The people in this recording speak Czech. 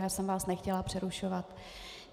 Jenom jsem vás nechtěla přerušovat.